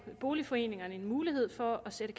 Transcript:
boligforeningerne mulighed for at sætte